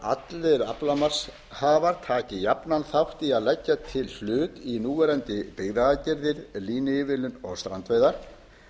að allir aflamarkshafar taki jafnan þátt í að leggja til hlut í núverandi byggðaaðgerðir línuívilnun og strandveiðar